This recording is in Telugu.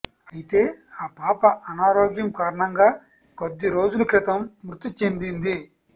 అయితే ఆ పాప అనారోగ్యం కారణంగా కొద్దిరోజుల క్రితం మృతి చెందింది